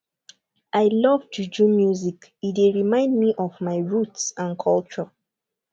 i love juju music e dey remind me of my roots and culture